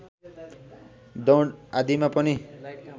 दौड आदिमा पनि